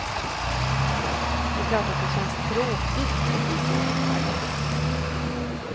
Det är klart att det känns tråkigt att bli så himla gammal.